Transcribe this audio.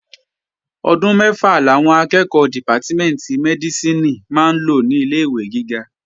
Ọdún mẹ́fà làwọn akẹ́ẹ̀kọ́ dìpátímẹ̀ntì Mẹ́dísìnì máa lò ní ilé-ìwé gíga